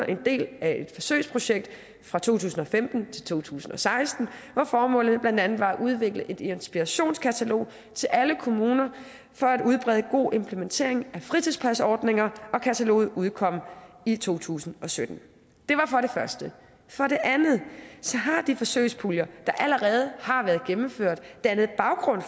en del af et forsøgsprojekt fra to tusind og femten til to tusind og seksten hvor formålet blandt andet var at udvikle et inspirationskatalog til alle kommuner for at udbrede god implementering af fritidspasordninger og kataloget udkom i to tusind og sytten for det andet har de forsøgspuljer der allerede har været gennemført dannet baggrund